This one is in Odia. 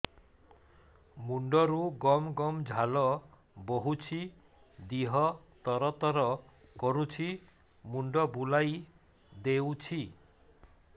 ମୁଣ୍ଡରୁ ଗମ ଗମ ଝାଳ ବହୁଛି ଦିହ ତର ତର କରୁଛି ମୁଣ୍ଡ ବୁଲାଇ ଦେଉଛି